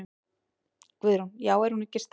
Guðrún: Já er hún sterk?